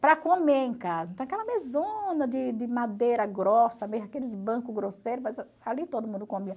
para comer em casa, então aquela mesona de de madeira grossa, aqueles bancos grosseiros, mas ali todo mundo comia.